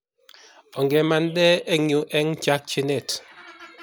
Ongemande eng yuu eng chakchinet